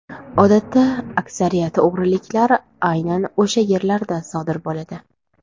Odatda aksariyat o‘g‘riliklar aynan o‘sha yerlarda sodir bo‘ladi.